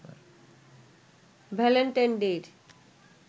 Valentine ডে’র